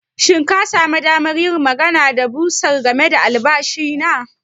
Shin ka sami damar yin magana da bursar game da albashi na?